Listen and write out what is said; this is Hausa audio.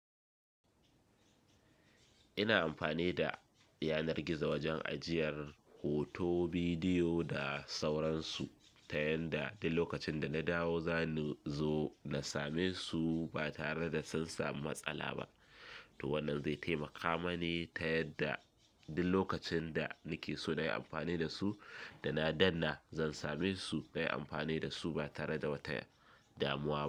Ina amfani da yanar gizo wajen ajiyar hoto, bidiyo da sauransu, ta yanda duk lokacin da na dawo zani zo na same su ba tare da zan samu matsala ba. To wannan zai taimaka mani ta yadda duk lokacin da nake so na yi amfani da su da na danna zan same su na yi amfani da su ba tare da wata damuwa ba.